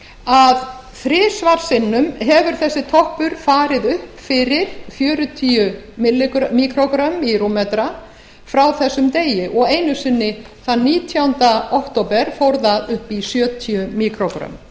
að þrisvar sinnum hefur þessi toppur farið upp fyrir fjörutíu míkrógrömm í rúmmetra frá þessum degi og einu sinni þann nítjánda október fór það upp í sjötíu míkrógrömm